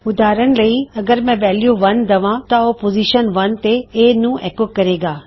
ਉਦਾਹਰਨ ਲਈ ਅਗਰ ਮੈਂ ਵੈਲਯੂ 1 ਦਵਾਂ ਤਾਂ ਉਹ ਪੋਜ਼ਿਸ਼ਨ 1 ਤੇ A ਨੂੰ ਐੱਕੋ ਕਰੇਗਾ